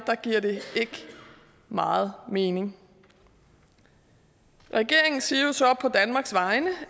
giver det ikke meget mening regeringen siger jo så på danmarks vegne